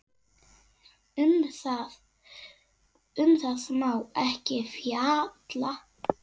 Um það má ekki fjalla.